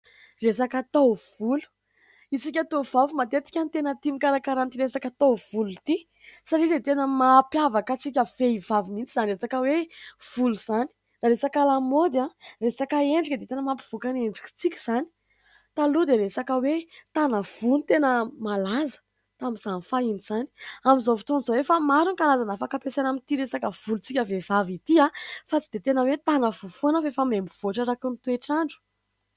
Resaka taovolo. Isika tovovavy matetika no tena tia mikarakara an'ity resaka taovolo ity, satria dia tena mampiavaka antsika vehivavy mihitsy izany resaka hoe volo izany. Raha resaka lamaody, resaka endrika dia tena mampivoaka ny endrikantsika izany. Taloha dia resaka hoe : "tana ivoho" no tena malaza tamin'izany fahiny izany ; amin'izao fotoan'izao efa maro ny karazana afaka ampiasaina amin'ity resaka volontsika vehivavy ity, fa tsy dia tena hoe : "tana ivoho" foana fa efa miha mivoatra araka ny toetr'andro.